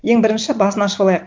ең бірінші басын ашып алайық